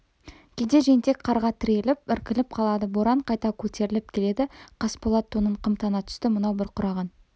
кейде жентек қарға тіреліп іркіліп қалады боран қайта көтеріліп келеді қасболат тонын қымтана түсті мынау бұрқыраған